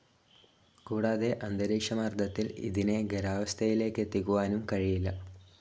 കൂടാതെ അന്തരീക്ഷമർദ്ദത്തിൽ ഇതിനെ ഖരാവസ്ഥയിലേക്കെത്തിക്കുവാനും കഴിയില്ല.